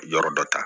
Yɔrɔ dɔ ta